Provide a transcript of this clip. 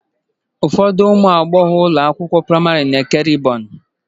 Ụfọdụ ụmụ agbọghọ ụlọ akwụkwọ praịmarị na-eke rịbọn.